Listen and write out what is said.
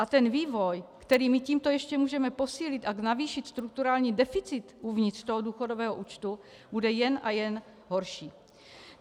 A ten vývoj, který my tímto ještě můžeme posílit a navýšit strukturální deficit uvnitř toho důchodového účtu, bude jen a jen horší.